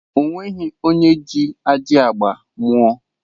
O nweghi onye ji ajị agba mụọ.